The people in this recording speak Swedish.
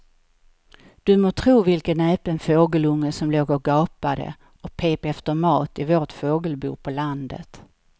Du må tro vilken näpen fågelunge som låg och gapade och pep efter mat i vårt fågelbo på landet.